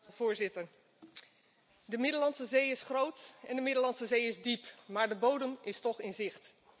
Voorzitter, de Middellandse Zee is groot en de Middellandse Zee is diep maar de bodem is toch in zicht.